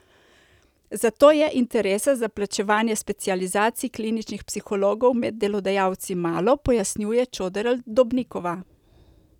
Zato je interesa za plačevanje specializacij kliničnih psihologov med delodajalci malo, pojasnjuje Čoderl Dobnikova.